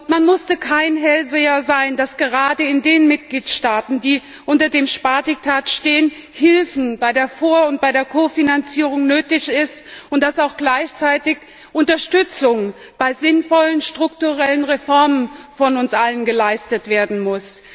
Man musste kein Hellseher sein, um vorauszusehen, dass gerade in den Mitgliedstaaten, die unter dem Spardiktat stehen, Hilfe bei der Vor und der Kofinanzierung nötig ist und dass auch gleichzeitig Unterstützung bei sinnvollen strukturellen Reformen von uns allen geleistet werden muss.